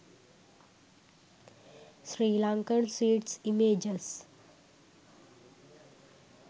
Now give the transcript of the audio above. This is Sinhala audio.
sri lankan sweets images